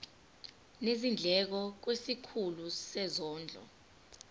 nezindleko kwisikhulu sezondlo